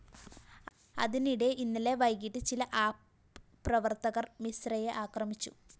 അതിനിടെ ഇന്നലെ വൈകിട്ട് ചില ആപ്പ്‌ പ്രവര്‍ത്തകര്‍ മിശ്രയെ ആക്രമിച്ചു